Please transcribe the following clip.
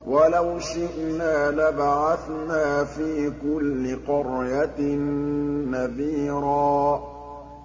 وَلَوْ شِئْنَا لَبَعَثْنَا فِي كُلِّ قَرْيَةٍ نَّذِيرًا